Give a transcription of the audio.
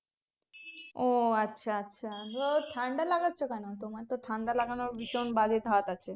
ও আচ্ছা আচ্ছা ঠাণ্ডা লাগাচ্ছো কেনো তোমার তো ঠাণ্ডা লাগানোর ভীষণ বাজে ধাত আছে